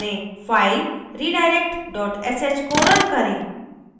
file redirect sh को run करें